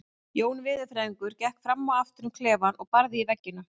Jón veðurfræðingur gekk fram og aftur um klefann og barði í veggina.